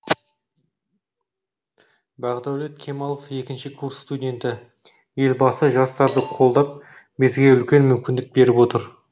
бағдәулет кемалов екінші курс студенті елбасы жастарды қолдап бізге үлкен мүмкіндік беріп отыр